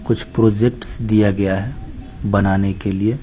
कुछ प्रोजेक्ट दिया गया है बनाने के लिए--